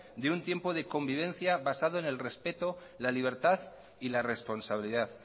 de un tiempo de convivencia basado en el respeto la libertad y la responsabilidad